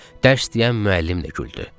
Dərs deyən müəllim də güldü.